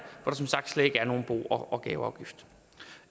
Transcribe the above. der som sagt slet ikke er nogen bo og gaveafgift